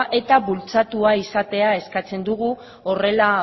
eta bultzatua izatea eskatzen dugu horrela